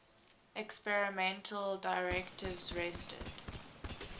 experimental directives rested